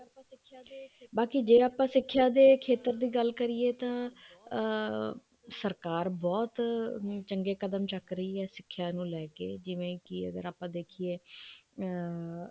ਬਾਕੀ ਜੇ ਆਪਾਂ ਸਿੱਖਿਆ ਦੀ ਖੇਤਰ ਦੀ ਗੱਲ ਕਰੀਏ ਤਾਂ ਅਮ ਸਰਕਾਰ ਬਹੁਤ ਚੰਗੇ ਕਦਮ ਚੱਕ ਰਹੀ ਹੈ ਸਿੱਖਿਆ ਨੂੰ ਲੈਕੇ ਜਿਵੇਂ ਕੀ ਅਗਰ ਆਪਾਂ ਦੇਖੀਏ ਅਮ